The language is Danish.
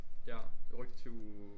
Ja rykke det til uge